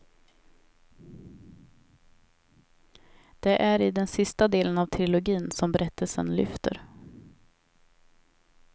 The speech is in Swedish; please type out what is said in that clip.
Det är i den sista delen av trilogin som berättelsen lyfter.